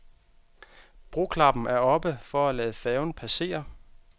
Broklappen er oppe for at lade færgen passere.